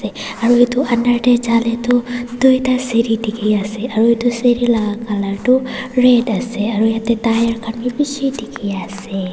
aru edu under tae jalae tu tuita seri dikhiase aru edu seri la colour tu red ase aru yatae tyre khan bi bishi dikhiase.